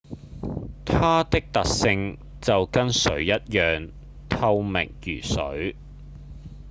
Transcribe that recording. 「它的特性就跟水一樣透明如水